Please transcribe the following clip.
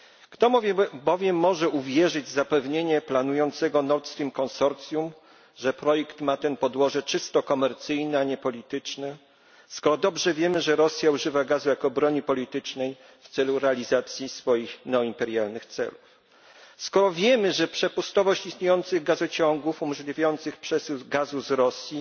Kto może bowiem uwierzyć w zapewnienia planującego Nord Stream konsorcjum, że ten projekt ma podłoże czysto komercyjne, a nie polityczne, skoro dobrze wiemy, że Rosja używa gazu jako broni politycznej do realizacji swoich neo imperialnych celów, skoro wiemy, że przepustowość istniejących gazociągów umożliwiających przesył gazu z Rosji